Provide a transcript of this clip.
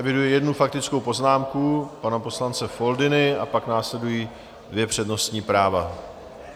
Eviduji jednu faktickou poznámku pana poslance Foldyny a pak následují dvě přednostní práva.